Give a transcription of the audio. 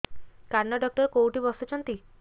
କାନ ଡକ୍ଟର କୋଉଠି ବସୁଛନ୍ତି